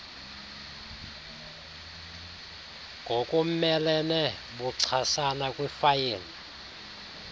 ngokumelene buchasana kwifayile